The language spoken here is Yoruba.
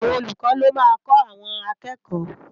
Awòn ólúkò ló má n kò áwòn àkèkò